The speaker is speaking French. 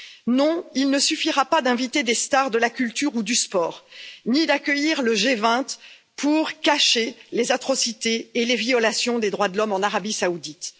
Non, il ne suffira pas d'inviter des stars de la culture ou du sport, ni d'accueillir le G 20 pour cacher les atrocités et les violations des droits de l'homme en Arabie saoudite.